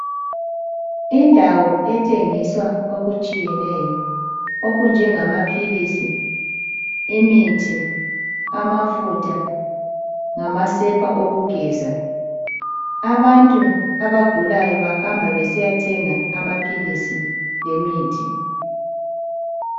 Indawo ethengisa okutshiyeneyo okunjengamaphilisi, imithi, amafutha lamasepa okugeza abantu abagulayo bahamba besiyathenga amaphilisi lemithi